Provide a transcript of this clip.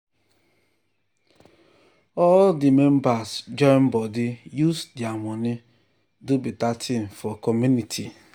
all di members join body use their money do better thing for community.